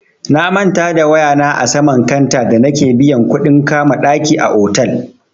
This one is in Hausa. Na manta da waya na a saman kanta da nake biyan kuɗin kama ɗaki a otal.